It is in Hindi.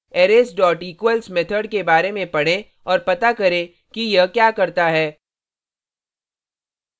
arrays equals method के बारे में पढ़ें और पता करें कि यह क्या करता है